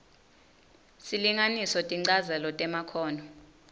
silinganiso tinchazelo temakhono